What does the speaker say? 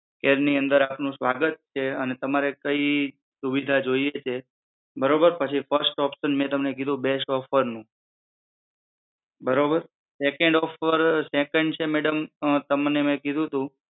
care ની અંદર આપનો સ્વાગત છે અને તમારે કઈ સુવિધા જોઈએ છે બરોબર પછી ફસ્ટ ઓપ્શન મેં તમને કીધું બેસ્ટ ઓફર નું બરોબર સેકન્ડ ઓફર, સેકન્ડ છે મેડમ, અમ તમને મે કીધુંતું